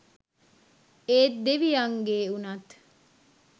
ඒත් දෙවියන්ගෙ උනත්